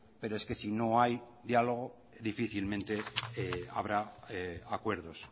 pero es que si no hay diálogo difícilmente habrá acuerdos